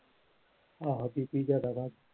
ਆਹੋ BP ਜਿਆਦਾ ਵੱਧ।